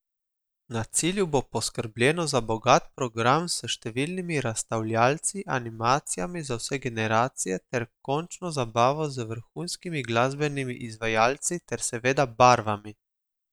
Na cilju bo poskrbljeno za bogat program s številnimi razstavljavci, animacijami za vse generacije ter končno zabavo z vrhunskimi glasbenimi izvajalci ter seveda barvami!